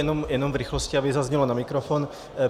Jenom v rychlosti, aby zaznělo na mikrofon.